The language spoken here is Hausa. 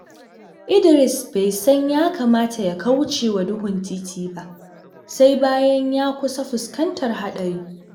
Idris bai san ya kamata ya kauce wa duhun titi ba, sai bayan ya kusa fuskantar haɗari.